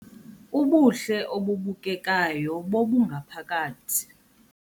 Ubuhle obubukekayo bobungaphakathi